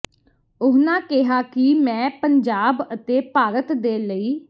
ਉਹਨਾਂ ਕਿਹਾ ਕਿ ਮੈਂ ਪੰਜਾਬ ਅਤੇ ਭਾਰਤ ਦੇ ਲਈ